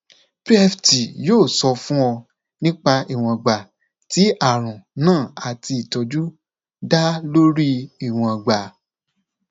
ó sábà um máa um ń lọ èyí lẹyìn tí mo bá ti lọ sí ilé ìgbọnsẹ